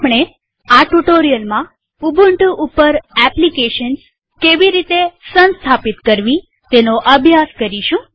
આપણે આ ટ્યુ્ટોરીઅલમાં ઉબુન્ટુ ઉપર એપ્લીકેશન્સ કેવી રીતે સંસ્થાપિત કરવી તેનો અભ્યાસ કરીશું